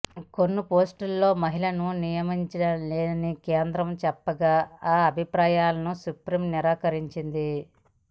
కొన్ని పోస్టుల్లో మహిళలను నియమించలేమని కేంద్రం చెప్పగా ఆ అభిప్రాయాలను సుప్రీం నిరాకరించింది